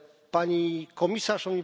Pani komisarz!